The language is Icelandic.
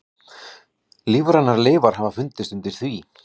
Lífrænar leifar hafa fundist undir því.